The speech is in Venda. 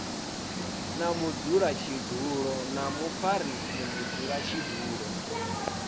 na mudzulatshidulo na mufarisa mudzulatshidulo